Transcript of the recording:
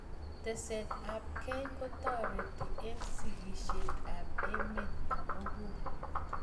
Testai ab kei kotareti eng' sigishet ab emet komug'ul